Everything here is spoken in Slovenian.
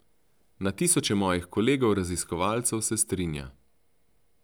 Na tisoče mojih kolegov raziskovalcev se strinja.